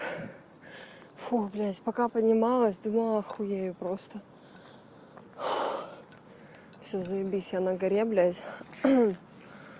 фу блядь пока поднималось думала охуею просто всё заебись я на горе блядь